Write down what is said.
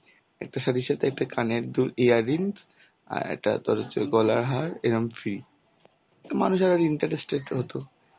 একটা সাথে সাথে কানের দুল earring আর একটা গলার হাড় এরম free মানুষেরা interested হতো,